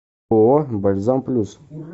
ооо бальзам плюс